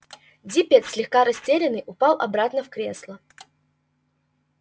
диппет слегка растерянный упал обратно в кресло